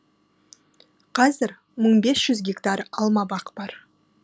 қазір мың бес жүз гектар алмабақ бар